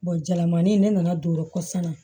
jalamanin ne nana don kɔsɔn na